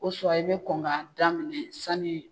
i bɛ kon kan daminɛ sani.